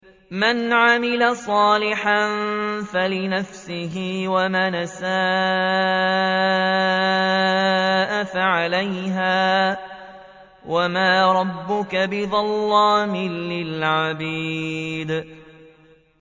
مَّنْ عَمِلَ صَالِحًا فَلِنَفْسِهِ ۖ وَمَنْ أَسَاءَ فَعَلَيْهَا ۗ وَمَا رَبُّكَ بِظَلَّامٍ لِّلْعَبِيدِ